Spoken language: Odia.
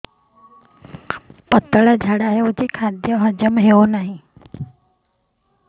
ପତଳା ଝାଡା ହେଉଛି ଖାଦ୍ୟ ହଜମ ହେଉନାହିଁ